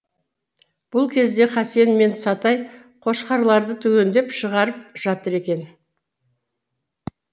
бұл кезде қасен мен сатай қошқарларды түгендеп шығарып жатыр екен